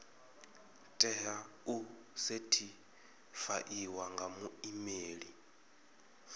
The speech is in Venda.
tea u sethifaiwa nga muimeli